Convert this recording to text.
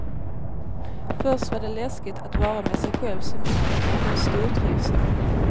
Först var det läskigt att vara med sig själv så mycket, men nu stortrivs jag.